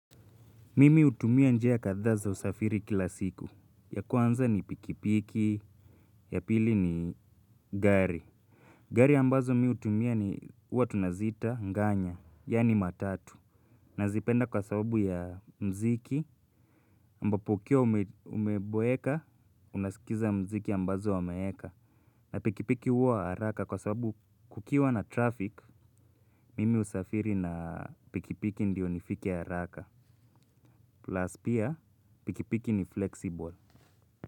Mimi hutumia njia kadhaa za usafiri kila siku. Ya kwanza ni pikipiki ya pili ni gari. Gari ambazo mimi hutumia ni huwa tunaziita nganya, yaani matatu. Nazipenda kwa sababu ya mziki ambapo ukiwa umeboeka unasikiza mziki ambazo wameeka. Na pikipiki huwa haraka kwa sababu kukiwa na traffic, mimi husafiri na pikipiki ndio nifike haraka. Plus pia pikipiki ni flexible.